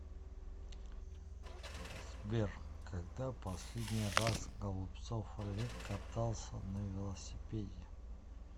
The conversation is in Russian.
сбер когда последний раз голубцов олег катался на велосипеде